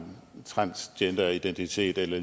transgenderidentitet eller